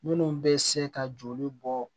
Minnu bɛ se ka joli bɔ